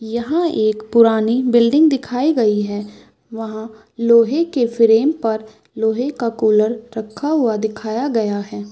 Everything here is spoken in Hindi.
यहाँ एक पुरानी बिल्डिंग दिखाई गई है वहाँ लोहे के फ्रेम पर लोहे का कूलर रखा हुआ दिखाया गया है।